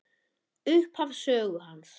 Upphaf sögu hans.